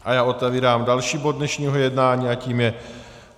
A já otevírám další bod dnešního jednání a tím je